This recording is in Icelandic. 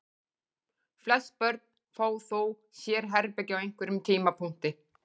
Flest börn fá þó sérherbergi á einhverjum tímapunkti.